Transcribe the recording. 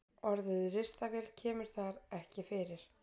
Orðið ristavél kemur þar ekki fyrir.